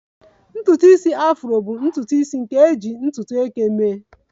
Ntutu isi Afro bụ ntutu isi nke ejiri ntutu eke mee